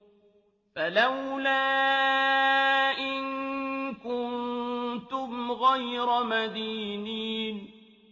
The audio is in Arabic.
فَلَوْلَا إِن كُنتُمْ غَيْرَ مَدِينِينَ